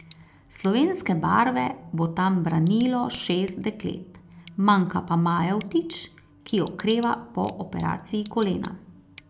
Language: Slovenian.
Slovenske barve bo tam branilo šest deklet, manjka pa Maja Vtič, ki okreva po operaciji kolena.